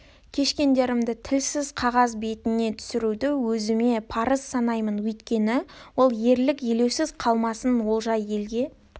кешкендерді тілсіз қағаз бетіне түсіруді өзіме парыз санаймын өйткені ол ерлік елеусіз қалмасын олжа елге